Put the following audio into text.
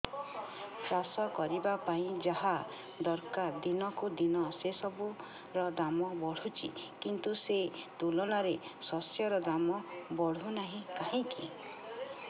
ଚାଷ କରିବା ପାଇଁ ଯାହା ଦରକାର ଦିନକୁ ଦିନ ସେସବୁ ର ଦାମ୍ ବଢୁଛି କିନ୍ତୁ ସେ ତୁଳନାରେ ଶସ୍ୟର ଦାମ୍ ବଢୁନାହିଁ କାହିଁକି